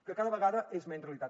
que cada vegada és menys realitat